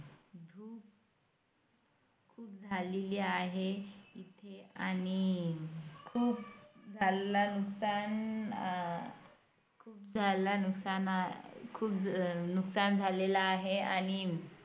झालेली आहे इथे आणि खूप झाल्याचं खूप झाल्याचं खूप नुकसान झालेलं आहे आणि